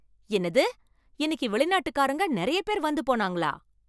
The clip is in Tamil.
என்னது, இன்னைக்கு வெளிநாட்டுக்காரங்க நிறைய பேர் வந்து போனாங்களா!